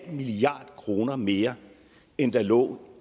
milliard kroner mere end der lå